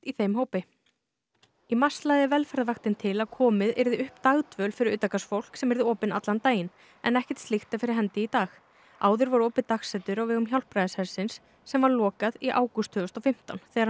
í mars lagði Velferðarvaktin til að komið yrði upp dagdvöl fyrir utangarðsfólk sem yrði opin allan daginn en ekkert slíkt er fyrir hendi í dag áður var opið dagsetur á vegum Hjálpræðishersins sem var lokað í lok ágúst tvö þúsund og fimmtán þegar hann missti húsnæðið